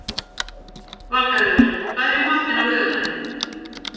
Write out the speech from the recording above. Valgarður, hvað er í matinn á laugardaginn?